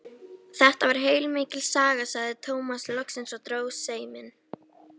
Þetta var heilmikil saga, sagði Tómas loksins og dró seiminn.